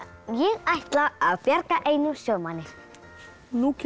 ég ætla að bjarga einum sjómanni nú kemur